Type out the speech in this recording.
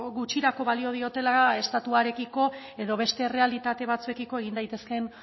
gutxirako balio diotela estatuarekiko edo beste errealitate batzuekiko egin daitezken